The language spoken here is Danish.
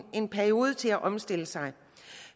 en periode til at omstille sig